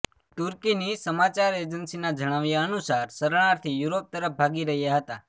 તુર્કીની સમાચાર એજન્સીના જણાવ્યા અનુસાર શરણાર્થી યુરોપ તરફ ભાગી રહ્યા હતા